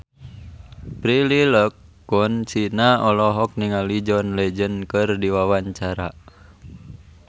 Prilly Latuconsina olohok ningali John Legend keur diwawancara